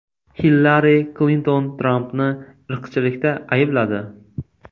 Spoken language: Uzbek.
Hillari Klinton Trampni irqchilikda aybladi.